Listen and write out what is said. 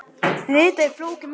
Fita er flókið mál.